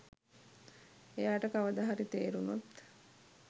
එයාට කවදා හරි තේරුනොත්